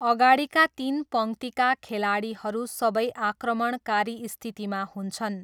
अगाडिका तिन पङ्क्तिका खेलाडीहरू सबै आक्रमणकारी स्थितिमा हुन्छन्।